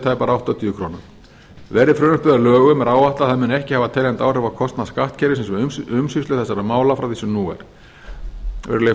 tæpar áttatíu krónur verði frumvarpið að lögum er áætlað að það muni ekki hafa teljandi áhrif á kostnað skattkerfisins og umsýslu þessara mála frá því sem nú er virðulegi